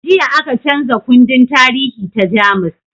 Jiya aka canza kundin tarihi ta jamus